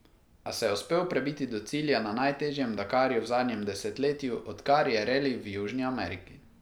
A se uspel prebiti do cilja na najtežjem Dakarju v zadnjem desetletju odkar je reli v Južni Ameriki.